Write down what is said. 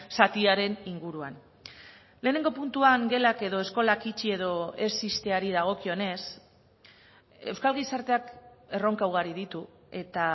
zatiaren inguruan lehenengo puntuan gelak edo eskolak itxi edo ez ixteari dagokionez euskal gizarteak erronka ugari ditu eta